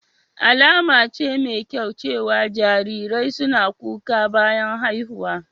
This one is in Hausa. Alama ce mai kyau cewa jarirai suna kuka bayan haihuwa.